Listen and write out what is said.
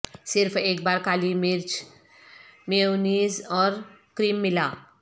صرف ایک بار کالی مرچ میئونیز اور کریم ملا